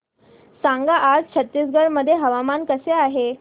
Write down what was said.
सांगा आज छत्तीसगड मध्ये हवामान कसे आहे